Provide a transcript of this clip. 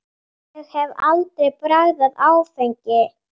Ég hef aldrei bragðað áfengi.